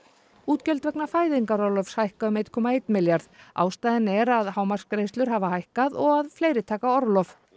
útgjöld vegna fæðingarorlofs hækka um eitt komma eitt milljarð ástæðan er að hámarksgreiðslur hafa hækkað og að fleiri taka orlof